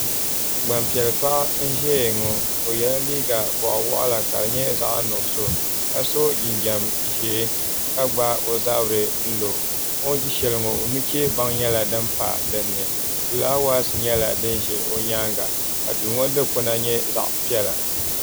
Gbanpiɛli paɣa n ʒɛya ŋo o yɛla liiga boɣa waɣala ka di nyɛ zaɣ nuɣso ka so jinjɛm ʒiɛ ka gbaai ozabiri n lo o ni ʒi shɛli ŋo nuchɛ baŋ nyɛla din pa dinni fulaawaasi nyɛla din ʒɛ o nyaanga ka duu ŋo dikpuna nyɛ zaɣ piɛla